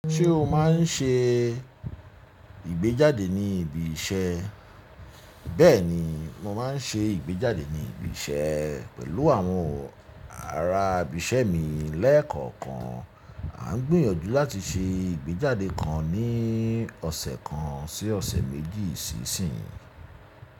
Ṣé o máa ń ṣe ìgbéjáde ní ibi iṣẹ́? Bẹ́ẹ̀ni, mo máa ń ṣe ìgbéjáde ní ibi iṣẹ́ pẹ̀lú àwọn ará ibi iṣẹ́ mi lẹ́ẹ̀kọ̀kan. A ń gbìyànjú láti ṣe ìgbéjáde kan ní ọ̀sẹ̀ kan sí ọ̀sẹ̀ méjì sí isìn yi.